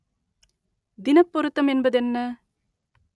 தினப் பொருத்தம் என்பதென்ன?